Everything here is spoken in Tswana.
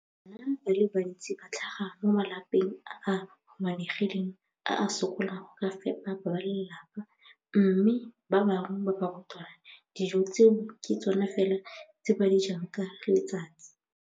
Bana ba le bantsi ba tlhaga mo malapeng a a humanegileng a a sokolang go ka fepa ba lelapa mme ba bangwe ba barutwana, dijo tseo ke tsona fela tse ba di jang ka letsatsi.